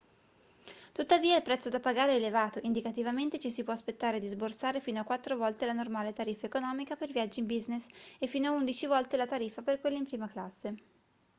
tuttavia il prezzo da pagare è elevato indicativamente ci si può aspettare di sborsare fino a quattro volte la normale tariffa economica per viaggi in business e fino a undici volte la tariffa per quelli in prima classe